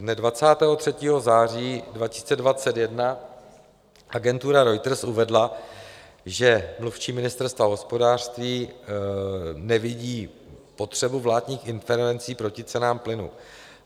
Dne 23. září 2021 agentura Reuters uvedla, že mluvčí ministerstva hospodářství nevidí potřebu vládních intervencí proti cenám plynu.